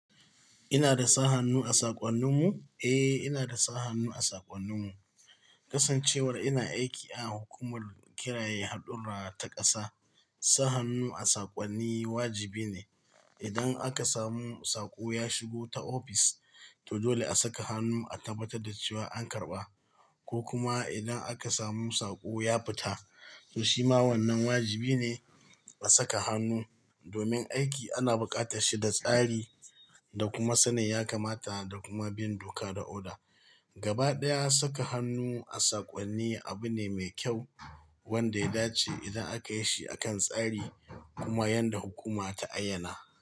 Ina da sa hannu a saƙwannin mu? Eh, ina da sa hannu a saƙwannin mu. Kasancewar ina aiki a hukumar kiraye haɗurra ta ƙasa, sa hannu a saƙwani wajibi ne. Idan aka samu saƙo ya shigo ta ofis, to dole a saka hannu a tabbatar da cewa an karɓa. Ko kuma idan aka samu saƙo ya fita, to shima wannan wajibi ne a saka hannu. Domin aiki ana buƙatar shi da tsari, da kuma sanin ya kamata da kuma bin doka da oda. Gabaɗaya saka hannu a saƙwani abu ne mai kyau, wanda ya dace idan aka yi shi akan tsari, kuma yanda hukuma ta ayyana.